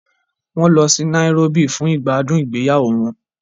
Wọ́n lọ sí Nairobi fún ìgbádùn ìgbéyàwó wọn.